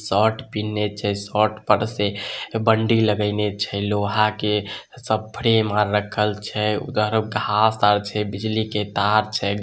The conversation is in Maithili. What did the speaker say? शर्ट पिन्हले छे शर्ट पर से बंडी लगाइने छे लोहा के सब फ्रेम आर रखल छै। उधर घास आर छे बिजली के तार छे।